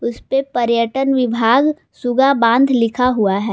इसपे पर्यटन विभाग सुग्गा बांध लिखा हुआ है।